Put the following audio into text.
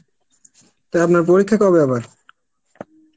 তা আপনার পরীক্ষা কবে আবার?